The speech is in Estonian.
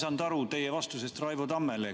Ma ei saanud aru teie vastusest Raivo Tammele.